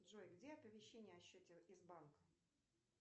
джой где оповещение о счете из банка